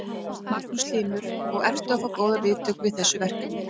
Magnús Hlynur: Og ertu að fá góðar viðtökur við þessu verkefni?